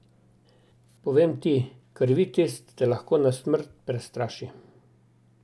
Povem ti, krvi test te lahko na smrt prestraši.